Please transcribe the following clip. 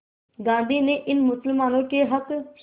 गांधी ने इन मुसलमानों के हक़